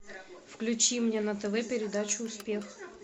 включи мне на тв передачу успех